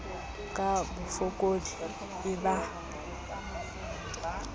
ka bofokodi e ba le